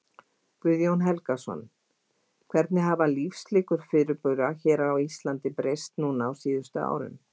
Guðjón Helgason: Hvernig hafa lífslíkur fyrirbura hér á Íslandi breyst núna á síðustu árum?